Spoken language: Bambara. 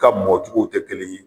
Ka mɔ cogow tɛ kelen ye.